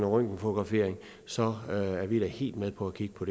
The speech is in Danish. røntgenfotografering så er vi da helt med på at kigge på